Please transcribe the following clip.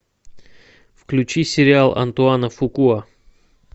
включи сериал антуана фукуа